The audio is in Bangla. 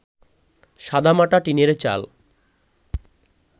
সাদামাটা টিনের চাল